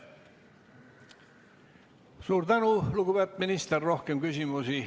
Suur tänu, lugupeetud minister!